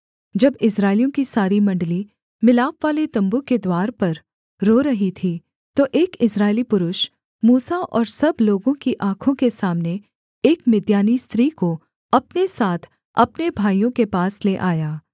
जब इस्राएलियों की सारी मण्डली मिलापवाले तम्बू के द्वार पर रो रही थी तो एक इस्राएली पुरुष मूसा और सब लोगों की आँखों के सामने एक मिद्यानी स्त्री को अपने साथ अपने भाइयों के पास ले आया